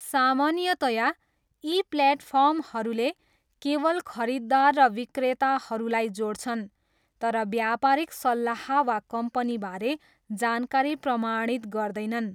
सामान्यतया, यी प्लेटफर्महरूले केवल खरीददार र विक्रेताहरूलाई जोड्छन् तर व्यापारिक सल्लाह वा कम्पनीबारे जानकारी प्रमाणित गर्दैनन्।